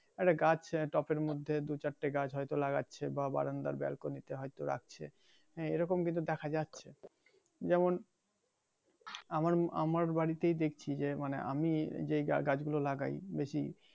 আরে এই গাছ টপ এর মধ্যে দুই চারটে গাছ হয়তো লাগাচ্ছে বা বারান্দায় বেলকনিতে হয়তো রাখছে হ্যাঁ এইরকম কিন্তু দেখা যাচ্ছে যেমন আমার বাড়িতেই দেখছি যে মানে আমি যে গা গাছ গুলো লাগাই বেশি